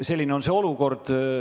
Selline on olukord.